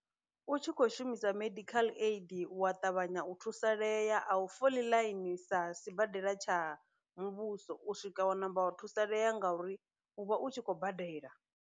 U tshi kho shumisa medical aid u wa ṱavhanya u thusalea a u foli ḽaini sa sibadela tsha muvhuso u swika wa namba wa thusalea ngauri u vha u tshi khou badela.